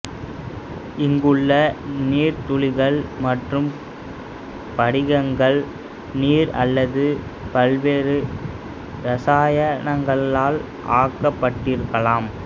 இங்குள்ள நீர்த்துளிகள் மற்றும் படிகங்கள் நீர் அல்லது பல்வேறு இரசாயனங்களால் ஆக்கப்பட்டிருக்கலாம்